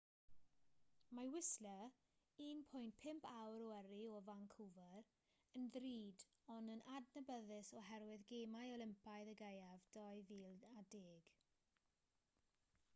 mae whistler 1.5 awr o yrru o vancouver yn ddrud ond yn adnabyddus oherwydd gemau olympaidd y gaeaf 2010